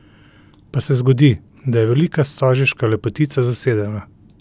Pa se zgodi, da je velika stožiška lepotica zasedena.